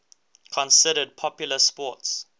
considered popular sports